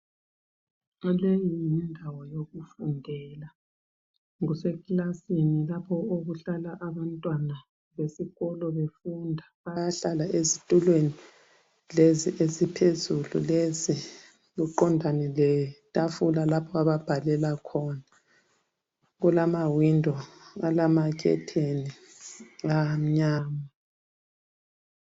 Leyi yindawo yokufundela kusekilasini lapho okuhlala abantwana besikolo befunda. Bayahlala ezitulweni lezi eziphezulu lezi beqondane letafula lapho ababhalela khona. Kulamawindo alamakhethini la amnyama.